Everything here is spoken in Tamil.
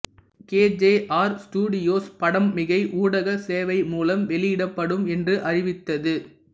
கேஜேஆர் ஸ்டுடியோஸ் படம் மிகை ஊடக சேவை மூலம் வெளியிடப்படும் என்று அறிவித்தது